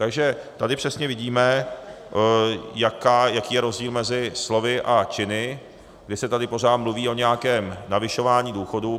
Takže tady přesně vidíme, jaký je rozdíl mezi slovy a činy, kdy se tady pořád mluví o nějakém navyšování důchodů.